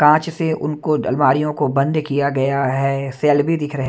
कांच से उनको अलमारियों को बंद किया गया है सेल भी दिख रहे--